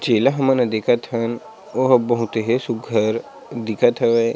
जेला हमन देखथ हन ओह बहुत हे सुघ्घर दिखत हे।